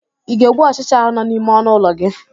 Ị ga-egbu ọchịcha ahụ nọ n'ime ọnụ ụlọ gị?